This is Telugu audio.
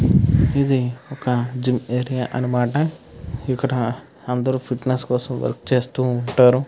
ఇది ఒక జిం ఏరియా అనమాట. ఇక్కడ అందరు ఫిట్నెస్ కోసం వర్క్ చేస్తూ ఉంటారు.